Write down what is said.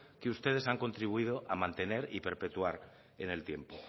que ustedes han contribuido a mantener y perpetuar en el tiempo